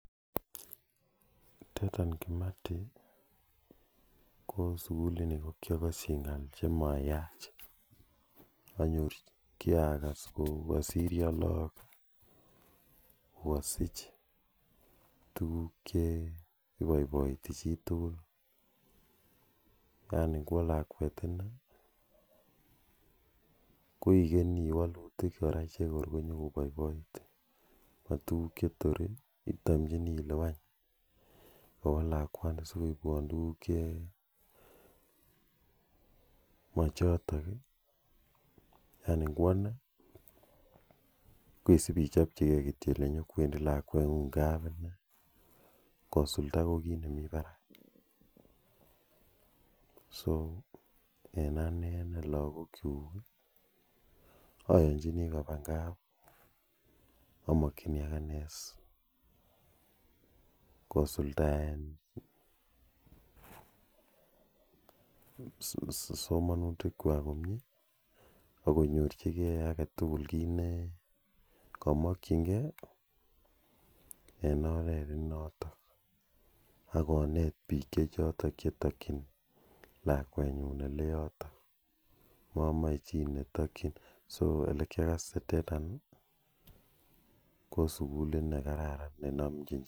Dedan Kimathi ko sukulit ni ko kiakaschi ng'al che mayach. Kiakas kou kasirya lagok ko kasich tuguk che ipaipaiti chi tugul. Yani ngowa lakwet ine ko ikenyi walutik kora che kor ko nyukopaipaitin matukuk che torin, itamchini ile any kawa lakwani si koipwa tuguk che machotok i, yani ngowan i koisipchopchigei kole nyu kowendi lakweng'ung kaaune kosulda ko kiit ne mk parak. So, ane en lagokchuk ayanchini kopa kap amun amakchini akine kosuldaen somanutikwak komye ak konyorchigei age tugul kiit ne kamakchingei en oret ne notok. Ak konet piik che chotok che takchin lakwenyun ole yotok mamache chi netakchin ole ma yotok. So kiakase Dedan ko sukulit ne kararan.